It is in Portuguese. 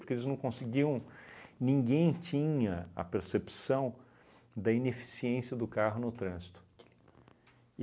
Porque eles não conseguiam, ninguém tinha a percepção da ineficiência do carro no trânsito.